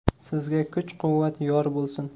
Sizga kuch-quvvat yor bo‘lsin!